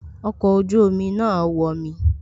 Ọkọ̀ ojú omi náà wọmi